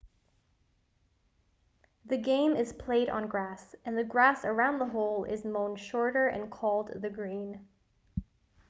the game is played on grass and the grass around the hole is mown shorter and called the green